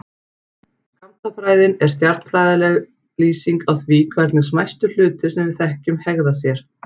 Skammtafræðin er stærðfræðileg lýsing á því hvernig smæstu hlutir sem við þekkjum hegða sér.